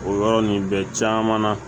O yɔrɔ nin bɛɛ caman na